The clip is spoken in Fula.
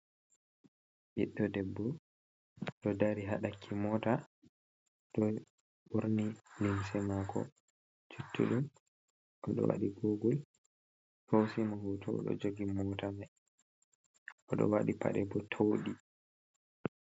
Ɓiɗɗo debbo ɗo dari haɗakki mota, ɗo ɓorni limse mako juttuɗum, oɗo waɗi gogol hosimo hoto ɗo jogi mota mai oɗo waɗi paɗe bo towɗi.